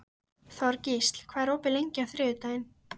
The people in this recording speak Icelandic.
Þorgísl, hvað er opið lengi á þriðjudaginn?